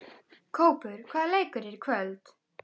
Kópur, hvaða leikir eru í kvöld?